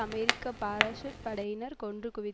அமெரிக்க parachute படையினர் கொன்று குவி